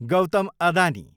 Gautam Adani